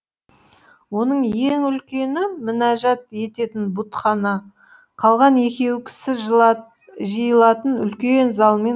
оның ең үлкені мінәжат ететін бұтхана қалған екеуі кісі жиылатын үлкен зал мен